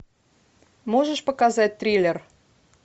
можешь показать триллер